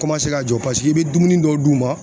ka jɔ , paseke i be dumuni dɔ d'u ma